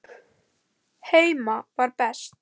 Heima var best.